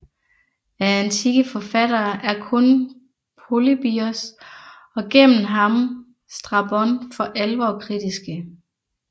Af antikke forfattere er kun Polybios og gennem ham Strabon for alvor kritiske